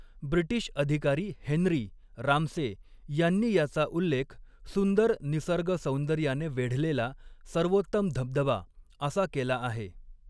British अधिकारी Henry, Ramsay यांनी याचा उल्लेख सुंदर निसर्गसौंदर्याने वेढलेला सर्वोत्तम धबधबा असा केला आहे.